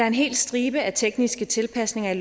en hel stribe af tekniske tilpasninger